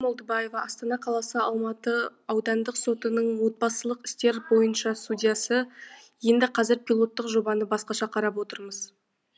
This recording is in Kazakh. айгүл молдыбаева астана қаласы алматы аудандық сотының отбасылық істер бойынша судьясы енді қазір пилоттық жобаны басқаша қарап отырмыз